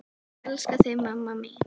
Ég elska þig mamma mín.